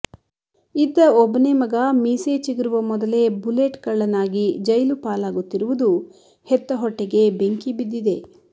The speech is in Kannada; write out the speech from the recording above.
ಇದ್ದ ಒಬ್ಬನೇ ಮಗ ಮೀಸೆ ಚಿಗುರುವ ಮೊದಲೇ ಬುಲೆಟ್ ಕಳ್ಳನಾಗಿ ಜೈಲು ಪಾಲಾಗುತ್ತಿರುವುದು ಹೆತ್ತ ಹೊಟ್ಟೆಗೆ ಬೆಂಕಿ ಬಿದ್ದಿದೆ